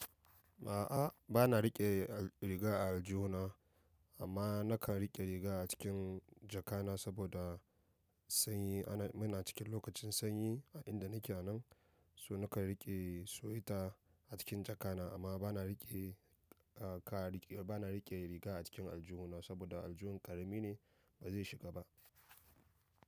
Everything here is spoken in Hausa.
A'a, ba na riƙe riga a aljuhna amma na kan riƙe riga a cikin jaka na saboda sanyi. Mu na cikin lokacin sanyi a inda ni ke nan, so na kan riƙe sweater a cikin jaka na. Amma ba na riƙe, ba na riƙe riga a cikin aljihuna saboda aljihun karami ne ba zai shiga ba.